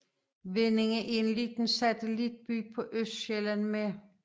Vindinge er en lille satellitby på Østsjælland med